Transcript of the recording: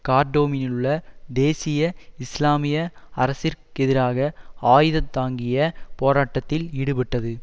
கார்டோமிலிலுள்ள தேசிய இஸ்லாமிய அரசிற்கெதிராக ஆயுதந்தாங்கிய போராட்டத்தில் ஈடுபட்டது